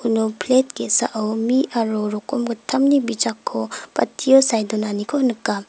plet ge·sao mi aro rokomgittamni bijakko batio sae donaniko nika.